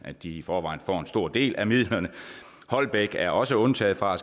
at de i forvejen får en stor del af midlerne holbæk er også undtaget fra at